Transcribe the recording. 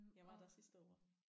Jeg var der sidste år